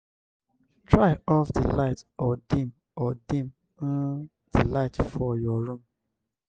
try off di light or deem or deem um di light for your room